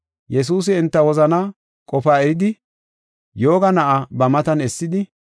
Yesuusi enta wozanaa qofaa eridi yooga na7aa ba matan essidi,